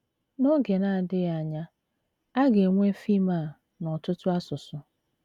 N’oge na - adịghị anya, a ga - enwe fim a n’ọtụtụ asụsụ.